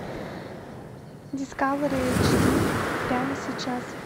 дискавери эйч ди прямо сейчас